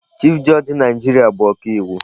Chief judge Naịjirịa bụ ọka iwu.